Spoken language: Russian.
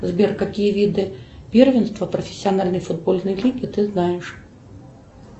сбер какие виды первенства профессиональной футбольной лиги ты знаешь